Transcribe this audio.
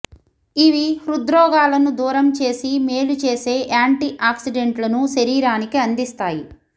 ఇవి హృద్రోగాలను దూరం చేసి మేలు చేసే యాంటీ ఆక్సిడెంట్లను శరీరానికి అందిస్తాయి